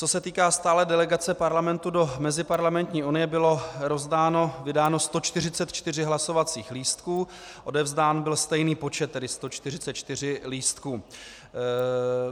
Co se týká stálé delegace Parlamentu do Meziparlamentní unie, bylo vydáno 144 hlasovacích lístků, odevzdán byl stejný počet, tedy 144 lístků.